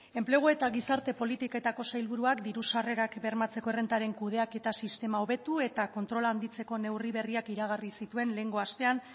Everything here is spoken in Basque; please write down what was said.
enplegu eta gizarte politiketako sailburuak diru sarrerak bermatzeko errentaren kudeaketa sistema hobetu eta kontrola handitzeko neurri berriak iragarri zituen lehengo astean